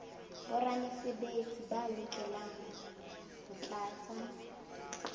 boramesebetsi ba lokela ho tlatsa